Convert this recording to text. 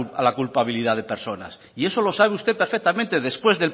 a la culpabilidad de personas y eso lo sabe usted perfectamente después